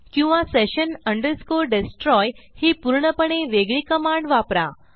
किंवा session destroy ही पूर्णपणे वेगळी कमांड वापरा